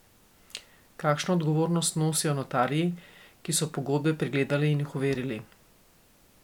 Kakšno odgovornost nosijo notarji, ki so pogodbe pregledali in jih overili?